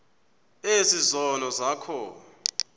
ezi zono zakho